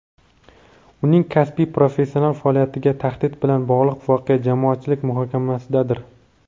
uning kasbiy professional faoliyatiga tahdid bilan bog‘liq voqea jamoatchilik muhokamasidadir.